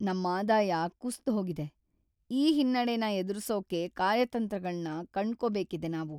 ನಮ್ ಆದಾಯ ಕುಸ್ದ್‌ಹೋಗಿದೆ! ಈ ಹಿನ್ನಡೆನ ಎದುರ್ಸೋಕೆ ಕಾರ್ಯತಂತ್ರಗಳ್ನ ಕಂಡ್ಕೋಬೇಕಿದೆ ನಾವು.